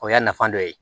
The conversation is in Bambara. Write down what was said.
O y'a nafa dɔ ye